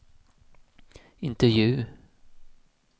intervju